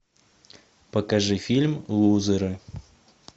покажи фильм лузеры